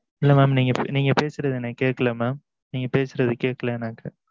இல்ல mam நீங்க பேசுறது எனக்கு கேட்கல mam நீங்க பேசுறது கேட்கல எனக்கு